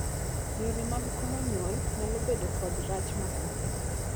Yore mag komo nyuol nyalo bedo kod rach mabadhe.